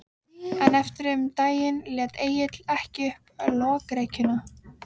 Mjósleginn þjónn hreif okkur upp úr vorkunnseminni.